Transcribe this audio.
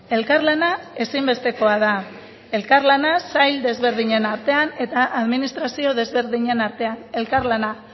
elkarlana ezinbestekoa da elkarlana sail desberdinen artean eta administrazio desberdinen artean elkarlana